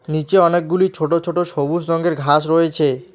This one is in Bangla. নিচে অনেকগুলি ছোট ছোট সবুজ রঙের ঘাস রয়েছে।